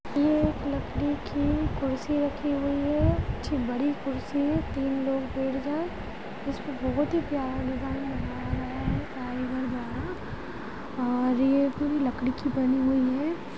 ये एक लकड़ी की कुर्सी रखी हुई है बड़ी कुर्सी तीन लोग बैठ जाएं इस पर बहुत ही प्यारा डिज़ाइन बनाया गया है कारीगर द्वारा और यह पूरी लकडी की बनी हुई है।